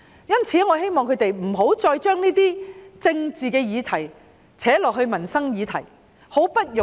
因此，我希望反對派不要再將政治議題拉進民生議題。